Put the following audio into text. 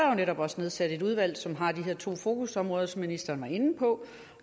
der netop også nedsat et udvalg som har de her to fokusområder som ministeren var inde på